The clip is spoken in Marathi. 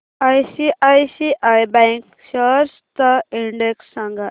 आयसीआयसीआय बँक शेअर्स चा इंडेक्स सांगा